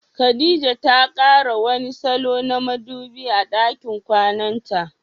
Khadija ta kara wani salo na madubi a dakin kwananta.